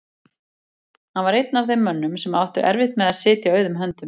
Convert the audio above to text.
Hann var einn af þeim mönnum sem áttu erfitt með að sitja auðum höndum.